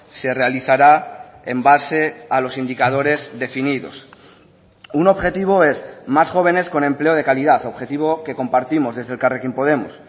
se realizará en base a los indicadores definidos un objetivo es más jóvenes con empleo de calidad objetivo que compartimos desde elkarrekin podemos